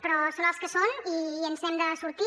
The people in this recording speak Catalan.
però són els que són i ens n’hem de sortir